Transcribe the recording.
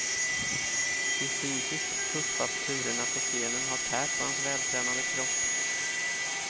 De fysiskt tuffa turerna på scenen har tärt på hans vältränade kropp.